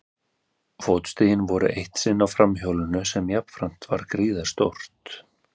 Fótstigin voru eitt sinn á framhjólinu sem jafnframt var gríðarstórt.